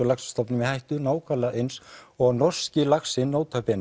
laxastofnum í hættu nákvæmlega eins og norski laxinn